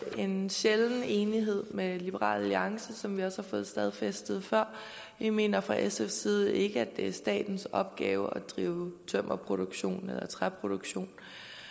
en sjælden enighed med liberal alliance som vi også har fået stadfæstet før vi mener fra sfs side ikke at det er statens opgave at drive tømmerproduktion eller træproduktion